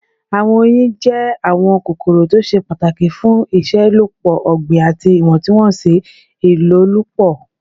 Awọn oyin jẹ awọn kokoro to ṣe pataki fun iṣelọpọ ogbin ati iwọntunwọnsi ilolupo